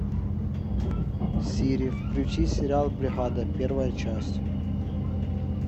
сири включи сериал бригада первая часть